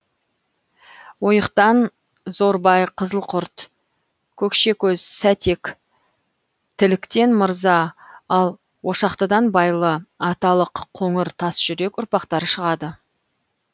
ойықтан зорбай қызылқұрт көкшекөз сәтек тіліктен мырза ал ошақтыдан байлы аталық қоңыр тасжүрек ұрпақтары шығады